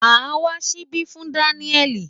Màá wá ṣíbí fún Daniel.